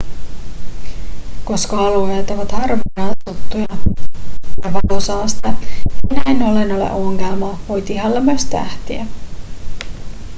koska alueet ovat harvaan asuttuja ja valosaaste ei näin ollen ole ongelma voit ihailla myös tähtiä